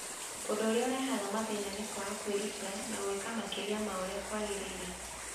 Ũndũ ũrĩa ũrehaga mathĩna nĩ kwaga kwĩrutĩra na gwĩka makĩria ma ũrĩa kwagĩrĩire.